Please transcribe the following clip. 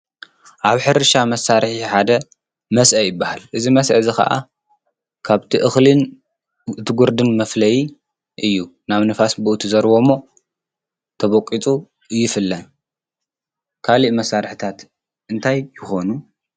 ኣብ ሕርሻ መሳርሒ ሓደ መስአ ይበሃል እዝይ መስአ እዝ ኸዓ ካብቲ እኽልን እ ቲ ጕርድን መፍለይ እዩ ናብ ንፋስ ብኡ ትዘርእዎሞ ተበቁፁ ይፍለ ካልእ መሳርሕታት እንታይ ይኾኑ?